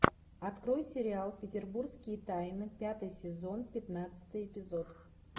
открой сериал петербургские тайны пятый сезон пятнадцатый эпизод